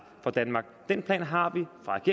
for danmark den plan har